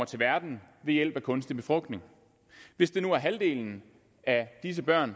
til verden ved hjælp af kunstig befrugtning hvis nu halvdelen af disse børn